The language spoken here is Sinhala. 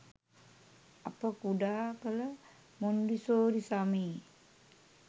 අප කුඩා කල මොන්ටිසෝරි සමයේ